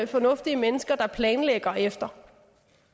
fornuftige mennesker der planlægger efter